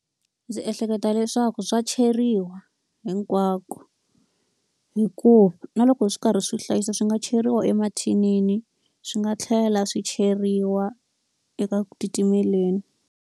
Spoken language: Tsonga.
Ndzi ehleketa leswaku swa cheriwa hinkwako. Hikuva na loko swi karhi swi hlayisa swi nga cheriwa emathinini, swi nga tlhela swi cheriwa eka ku titimeleni.